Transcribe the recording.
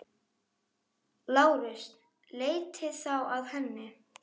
LÁRUS: Leitið þá að henni.